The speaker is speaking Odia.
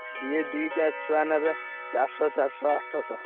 ସିଏ ଦିଟା ଛୁଆ ନେବେ ଚାରିଶହ ଚାରିଶହ ଆଠଶହ।